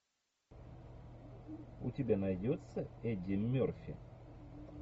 у тебя найдется эдди мерфи